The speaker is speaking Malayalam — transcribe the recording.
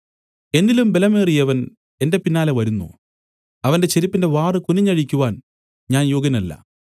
എന്നിലും ബലമേറിയവൻ എന്റെ പിന്നാലെ വരുന്നു അവന്റെ ചെരിപ്പിന്റെ വാറ് കുനിഞ്ഞഴിക്കുവാൻ ഞാൻ യോഗ്യനല്ല